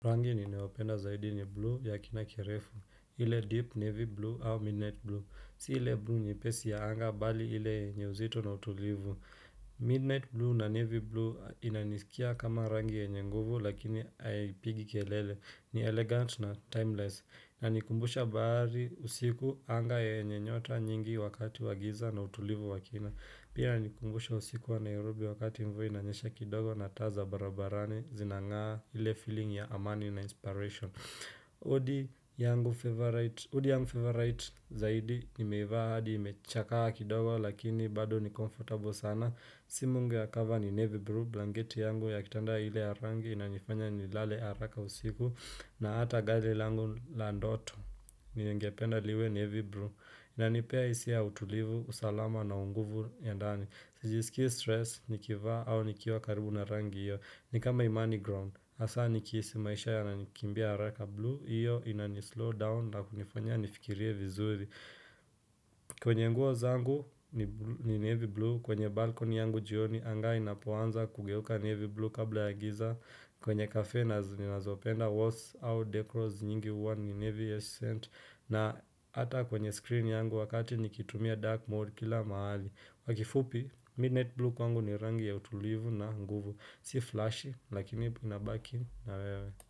Rangi ninayopenda zaidi ni blue ya kina kirefu, ile deep navy blue au midnight blue, si ile blue nyepesi ya anga bali ile yenye uzito na utulivu. Midnight blue na navy blue inanisikia kama rangi yenye nguvu lakini haipigi kelele, ni elegant na timeless, inanikumbusha bahari usiku anga yenye nyota nyingi wakati wa giza na utulivu wakina. Pia yanikumbusha usiku wa Nairobi wakati mvua ina nyesha kidogo na taa za barabarani Zinangaa hile feeling ya amani na inspiration Udi yangu favorite zaidi nimeivaa hadi imechakaa kidogo lakini bado ni comfortable sana simu yangu ya kava ni navy blue blanketi yangu ya kitanda ile ya rangi inanifanya ni lale haraka usiku na ata gade langu la ndoto Ningependa liwe navy blue Inanipea hisia ya utulivu, usalama na unguvu ya ndani Sijisikii stress nikivaa au nikiwa karibu na rangi iyo Nikama imani ground hasa nikihisi maisha yananikimbia haraka blue Iyo inani slow down na kunifanya nifikirie vizuri kwenye nguo zangu ni navy blue kwenye balkoni yangu jioni anga inapoanza kugeuka navy blue kabla ya giza kwenye kafe na zinazopenda walls au decors nyingi huwa ni navy accent na ata kwenye screen yangu wakati nikitumia dark mode kila mahali kwa kifupi, midnight blue kwangu ni rangi ya utulivu na nguvu Si flashy, lakini ina baki na wewe.